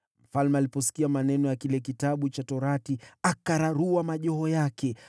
Mfalme aliposikia maneno ya kile Kitabu cha Sheria, akararua mavazi yake.